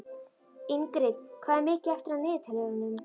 Ingrid, hvað er mikið eftir af niðurteljaranum?